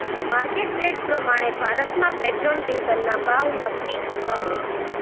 market rate પ્રમાણે ભારતમાં petrol ડીઝલના ભાવ નક્કી થતા હોય છે